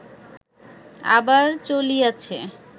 আবার চলিয়াছে